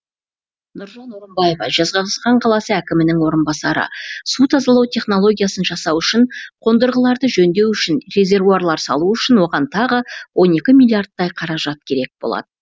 нұржан орынбаев жезқазған қаласы әкімінің орынбасары су тазалау технологиясын жасау үшін қондырғыларды жөндеу үшін резервуарлар салу үшін оған тағы он екі миллиардтай қаражат керек болад